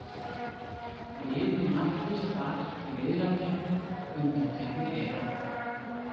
Liði mættust þar í riðlakeppni undankeppni EM.